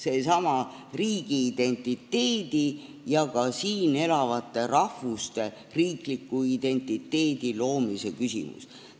See on seesama riigiidentiteedi ja ka siin elavate rahvuste riikliku identiteedi loomise küsimus.